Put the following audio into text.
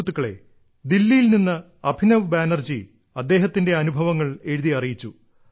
സുഹൃത്തുക്കളേ ദില്ലിയിൽ നിന്ന് അഭിനവ ബാനർജി അദ്ദേഹത്തിന്റെ അനുഭവങ്ങൾ എഴുതി അറിയിച്ചു